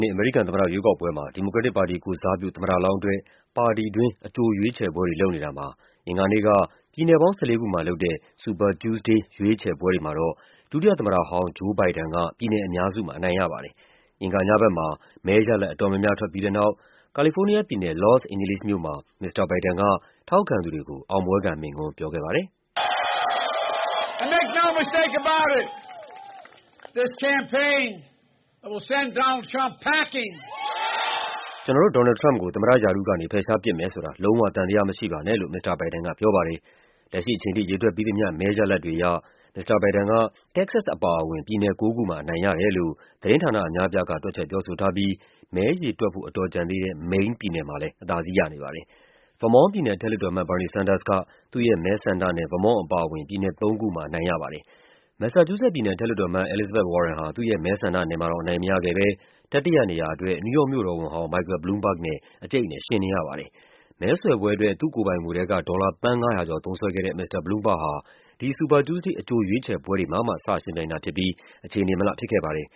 နှစ် အမေရိကန်သမ္မတရွေးကောက်ပွဲမှာ ဒီမိုကရက်တစ်ပါတီကိုယ်စားပြု သမ္မတလောင်းအတွက် ပါတီတွင်း အကြို ရွေးချယ်ပွဲတွေလုပ်နေတာမှာ အင်္ဂါနေ့က ပြည်နယ်ပေါင်း ၁၄ ခုမှာ လုပ်တဲ့ Super Tuesday ရွေးချယ်ပွဲ တွေမှာတော့ ဒုတိယသမ္မတဟောင်း Joe Biden က ပြည်နယ်အများစုမှာ အနိုင်ရပါတယ်။ အင်္ဂါညဘက်မှာ မဲရလဒ်အတော်များများ ထွက်ပြီးတဲ့နောက် ကာလီဖိုးနီးယားပြည်နယ်၊ လော့စ်အိန်ဂျလိစ်မြို့မှာ မစ္စတာဘိုင်ဒန် က ထောက်ခံသူတွေကို အောင်ပွဲခံမိန့်ခွန်းပြောခဲ့ပါတယ်။ “ကျနော်တို့ ဒေါ်နယ်လ်ဒ် ထရမ့်ပ်ကို သမ္မတရာထူးကနေ ဖယ်ရှားပစ်မယ်ဆိုတာ လုံးဝ သံသယမရှိပါနဲ့။” လို့ မစ္စတာဘိုင်ဒန်က ပြောပါတယ်။ လက်ရှိအချိန်ထိ ရေတွက်ပြီးသမျှ မဲရလဒ်တွေအရ မစ္စတာဘိုင်ဒန်က တက္ကဆက်စ်အပါအဝင် ပြည်နယ်ကိုးခုမှာ အနိုင်ရတယ်လို့ သတင်းဌာနအများအပြားက တွက်ချက်ပြောဆိုထားပြီး မဲရေတွက်ဖို့ အတော်ကျန်သေးတဲ့ မိန်းပြည်နယ်မှာလည်း အသာစီး ရနေပါတယ်။ ဗားမွန့်ပြည်နယ် အထက်လွှတ်တော်အမတ် Bernie Sanders က သူ့ရဲ့ မဲဆန္ဒနယ် ဗားမွန့်အပါအဝင် ပြည်နယ်လေးခုမှာ အနိုင်ရပါ တယ်။ မက်ဆာချူးဆက်ပြည်နယ် အထက်လွှတ်တော် Elizabeth Warren ဟာ သူ့ရဲ့ မဲဆန္ဒနယ်မှာတောင် အနိုင်မရခဲ့ဘဲ တတိယနေရာအတွက် နယူးယောက်မြို့တော်ဝန်ဟောင်း Michael Bloomberg နဲ့ အကျိတ်အနယ်ယှဉ်နေရပါတယ်။ မဲဆွယ်ပွဲအတွက် သူ့ကိုယ်ပိုင်ငွေထဲက ဒေါ်လာ သန်း ၅၀၀ ကျော် သုံးစွဲခဲ့တဲ့ မစ္စတာ Bloomberg ဟာ ဒီ Super Tuesday အကြို ရွေးချယ်ပွဲတွေမှာမှ စယှဉ်ပြိုင်တာဖြစ်ပြီး အခြေအနေမလှဖြစ်ခဲ့ပါတယ်။